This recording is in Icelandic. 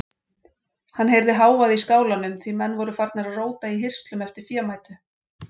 Hann heyrði hávaða í skálanum því menn voru farnir að róta í hirslum eftir fémætu.